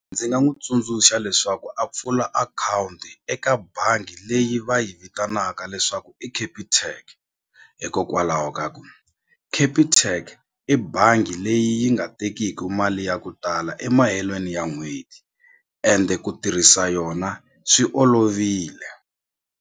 Ndzi nga n'wi tsundzuxa leswaku a pfula akhawunti eka bangi leyi va yi vitanaka leswaku i Capitec hikokwalaho ka ku Capitec i bangi leyi yi nga tekiki mali ya ku tala emahelweni ya n'hweti ende ku tirhisa yona swi olovile.